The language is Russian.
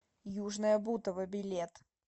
южное бутово билет